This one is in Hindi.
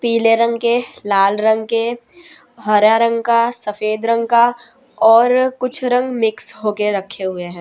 पीले रंग के लाल रंग के हरा रंग का सफेद रंग का और कुछ रंग मिक्स होके रखे हुए है।